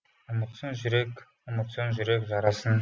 ұмытсын жүрек ұмытсын жүрек жарасын